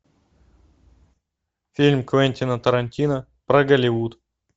фильм квентина тарантино про голливуд